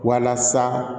Walasa